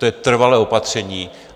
To je trvalé opatření.